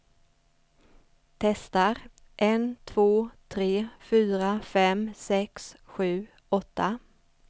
Testar en två tre fyra fem sex sju åtta.